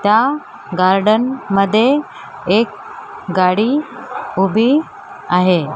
त्या गार्डन मध्ये एक गाडी उभी आहे.